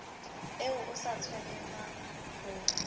eo o sa tshwanelang ho